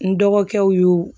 N dɔgɔkɛw y'o